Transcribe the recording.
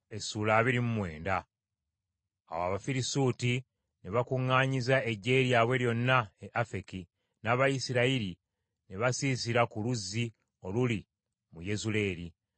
Awo Abafirisuuti ne bakuŋŋaanyiza eggye lyabwe lyonna e Afeki, n’Abayisirayiri ne basiisira ku luzzi oluli mu Yezuleeri.